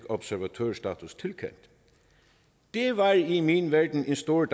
observatørstatus det var i min verden en stor